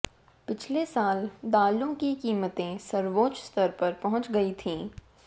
पिछले साल दालों की कीमतें सर्वोच्च स्तर पर पहुंच गई थीं